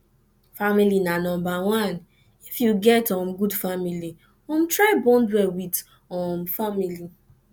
family na number one if you get um good family um try bond well with um family